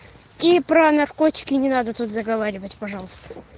и про наркотики не надо тут заговаривать пожалуйста